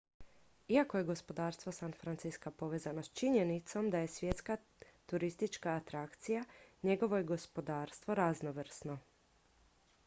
iako je gospodarstvo san francisca povezano s činjenicom da je svjetska turistička atrakcija njegovo je gospodarstvo raznovrsno